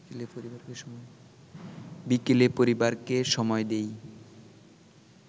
বিকেলে পরিবারকে সময় দেই